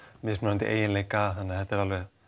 mismunandi eiginleika þannig að þetta er